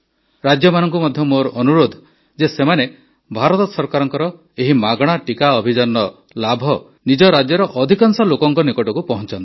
ରାଜ୍ୟମାନଙ୍କୁ ମଧ୍ୟ ମୋର ଅନୁରୋଧ ଯେ ସେମାନେ ଭାରତ ସରକାରଙ୍କର ଏହି ମାଗଣା ଟିକା ଅଭିଯାନର ଲାଭ ନିଜ ରାଜ୍ୟର ଅଧିକାଂଶ ଲୋକଙ୍କ ନିକଟକୁ ପହଞ୍ଚାନ୍ତୁ